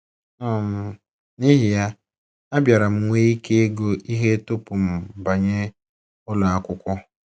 “ um N’ihi ya, abịara m nwee ike ịgụ ihe tupu m banye ụlọ akwụkwọ.